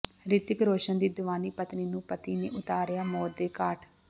ਰਿਤਿਕ ਰੋਸ਼ਨ ਦੀ ਦੀਵਾਨੀ ਪਤਨੀ ਨੂੰ ਪਤੀ ਨੇ ਉਤਾਰਿਆ ਮੌਤ ਦੇ ਘਾਟ